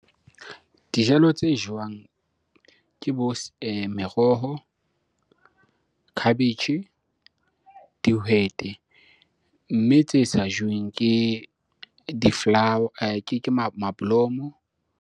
Dijalo tse jowang ke bo merohon, khabetjhe, dihwete. Mme tse sa joweng ke di-flower ke mablomo.